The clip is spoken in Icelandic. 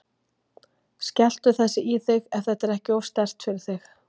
Skelltu þessu í þig, ef þetta er ekki of sterkt fyrir þig.